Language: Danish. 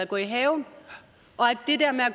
gå i haven